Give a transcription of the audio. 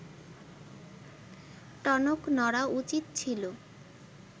টনক নড়া উচিত ছিল